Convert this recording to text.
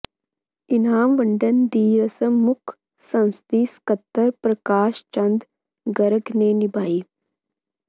ਇਨਾਮ ਵੰਡਣ ਦੀ ਰਸਮ ਮੁੱਖ ਸੰਸਦੀ ਸਕੱਤਰ ਪ੍ਰਕਾਸ਼ ਚੰਦ ਗਰਗ ਨੇ ਨਿਭਾਈ